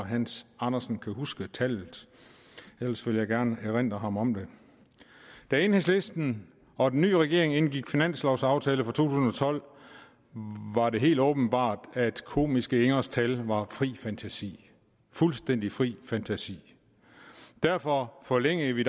hans andersen kan huske tallet ellers vil jeg gerne erindre ham om det da enhedslisten og den ny regering indgik finanslovsaftalen for to tusind og tolv var det helt åbenbart at komiske ingers tal var fri fantasi fuldstændig fri fantasi derfor forlængede vi